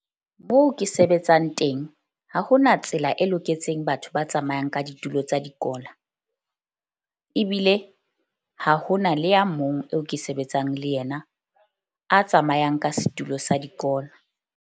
Moo ke sebetsang teng, ha ho na tsela e loketseng batho ba tsamayang ka ditulo tsa dikola. Ebile ha ho na le ya mong eo ke sebetsang le yena a tsamayang ka setulo sa dikola.